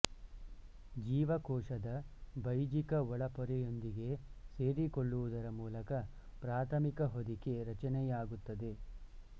ಜೀವಕೋಶದ ಬೈಜಿಕ ಒಳಪೊರೆಯೊಂದಿಗೆ ಸೇರಿಕೊಳ್ಳುವುದರ ಮೂಲಕ ಪ್ರಾಥಮಿಕ ಹೊದಿಕೆ ರಚನೆಯಾಗುತ್ತದೆ